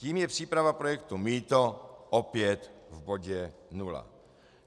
Tím je příprava projektu mýto opět v bodě nula.